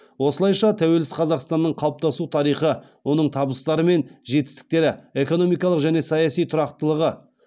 осылайша тәуелсіз қазақстанның қалыптасу тарихы оның табыстары мен жетістіктері экономикалық және саяси тұрақтылығы